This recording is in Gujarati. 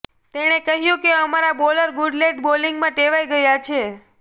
તેણે કહ્યુ કે અમારા બોલર ગુડલેંથ બોલિગંમાં ટેવાઇ ગયા છે